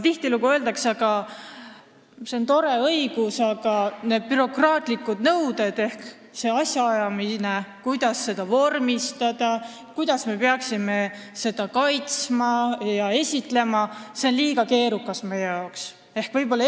Tihtilugu öeldakse aga, et see on tore õigus, aga kõik need bürokraatlikud nõuded, kuidas seda vormistada, kuidas seda kaitsta ja esitleda – see on meie jaoks liiga keerukas.